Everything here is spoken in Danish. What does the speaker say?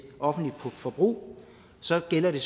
offentlige forbrug så gælder det